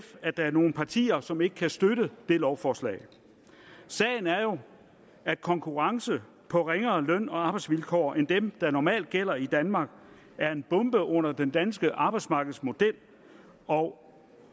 at der er nogle partier som ikke kan støtte det lovforslag sagen er jo at konkurrence på ringere løn og arbejdsvilkår end dem der normalt gælder i danmark er en bombe under den danske arbejdsmarkedsmodel og